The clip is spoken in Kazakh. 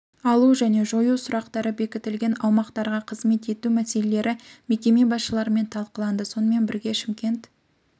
алу және жою сұрақтары бекітілген аумақтарға қызмет ету мәселелері мекеме басшыларымен талқыланды сонымен бірге шымкент